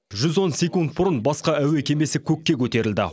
жүз он секунд бұрын басқа әуе кемесі көкке көтерілді